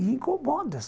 E incomoda.